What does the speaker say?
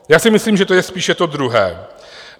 Já si myslím, že to je spíše to druhé.